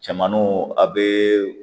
Cɛmannu a be